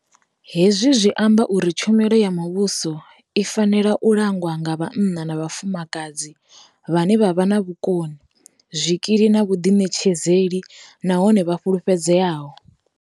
Hezwi zwi amba uri tshumelo ya muvhuso i fa nela u langwa nga vhanna na vhafumakadzi vhane vha vha na vhukoni, zwikili na vhuḓiṋetshedzeli nahone vha fulufhedzeaho.